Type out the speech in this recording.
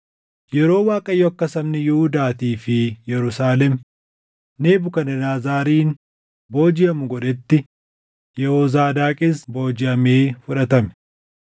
Yeroo Waaqayyo akka sabni Yihuudaatii fi Yerusaalem Nebukadnezariin boojiʼamu godhetti Yehoozaadaaqis boojiʼamee fudhatame.